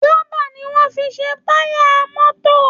Rọ́bà ni wọ́n fi ń ṣe táyà mọ́tì